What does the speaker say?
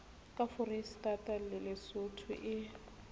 ka foreisetata le lesotho e